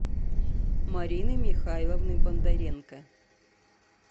марины михайловны бондаренко